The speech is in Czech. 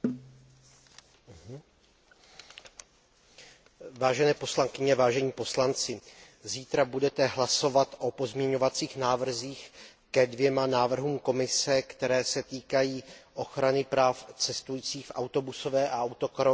Vážené poslankyně, vážení poslanci, zítra budete hlasovat o pozměňovacích návrzích ke dvěma návrhům Komise, které se týkají ochrany práv cestujících v autobusové a autokarové dopravě a rovněž při cestování po moři